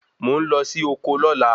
Mo ń lọ sí oko lóla